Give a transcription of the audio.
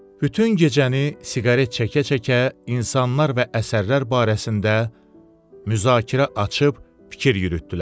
Bütün gecəni siqaret çəkə-çəkə insanlar və əsərlər barəsində müzakirə açıb fikir yürütdülər.